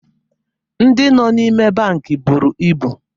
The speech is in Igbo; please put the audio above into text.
Ndị nọ n'ime bankị buru ibu